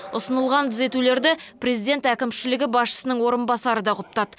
ұсынылған түзетулерді президент әкімшілігі басшысының орынбасары да құптады